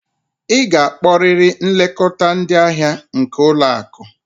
Ị ga-akpọrịrị nlekọta ndị ahịa nke ụlọ akụ!